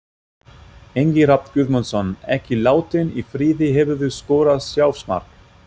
Ingvi Rafn Guðmundsson, ekki látinn í friði Hefurðu skorað sjálfsmark?